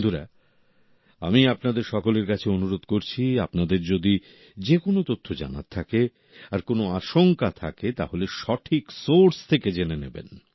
বন্ধুরা আমি আপনাদের সকলের কাছে অনুরোধ করছি আপনাদের যদি যেকোনো তথ্য জানার থাকে আর কোনো আশংকা থাকে তাহলে সঠিক সোর্স থেকে জেনে নেবেন